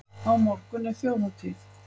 Á morgun er þjóðhátíð.